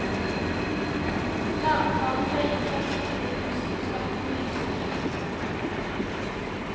Læreplanen ble innført i fjor høst, og skapte mye strid.